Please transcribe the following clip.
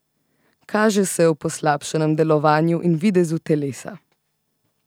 Kaže se v poslabšanem delovanju in videzu telesa.